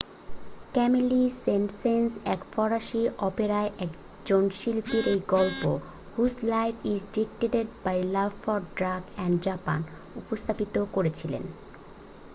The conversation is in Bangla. "ক্যামিলি সেন্ট-সেন্স এক ফরাসি অপেরায় একজন শিল্পীর এই গল্প "whose life is dictated by love for drugs and Japan" উপস্থাপিত করেছিলেন।